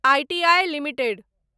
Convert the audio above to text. I T I limited